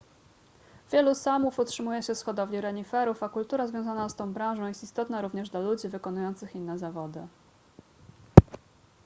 wielu saamów utrzymuje się z hodowli reniferów a kultura związana z tą branżą jest istotna również dla ludzi wykonujących inne zawody